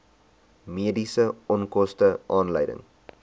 mediese onkoste aanleiding